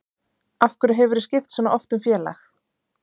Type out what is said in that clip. Af hverju hefurðu skipt svo oft um félag?